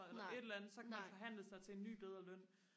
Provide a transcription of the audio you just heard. eller et eller andet og så kan man forhandle sig til en ny bedre løn